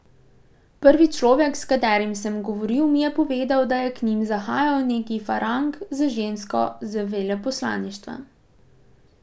Prvi človek, s katerim sem govoril, mi je povedal, da je k njim zahajal neki farang z žensko z veleposlaništva.